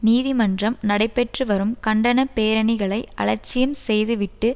நீதிமன்றம் நடைபெற்றுவரும் கண்டன பேரணிகளை அலட்சியம் செய்துவிட்டு